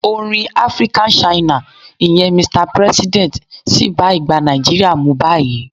Orin African China, ìyẹn "Mr President" sì bá ìgbà Nigeria mu báyìí.